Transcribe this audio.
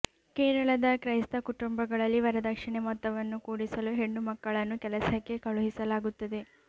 ಕೇರಳದ ಕ್ರೈಸ್ತ ಕುಟುಂಬಗಳಲ್ಲಿ ವರದಕ್ಷಿಣೆ ಮೊತ್ತವನ್ನು ಕೂಡಿಸಲು ಹೆಣ್ಣುಮಕ್ಕಳನ್ನು ಕೆಲಸಕ್ಕೆ ಕಳುಹಿಸಲಾಗುತ್ತದೆ